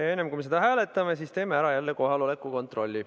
Aga enne, kui me seda hääletame, teeme jälle kohaloleku kontrolli.